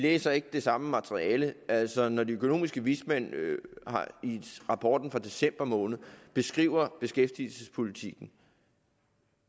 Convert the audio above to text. læser ikke det samme materiale altså når de økonomiske vismænd i rapporten fra december måned beskriver beskæftigelsespolitikken